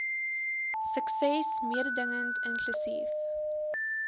sukses mededingend inklusief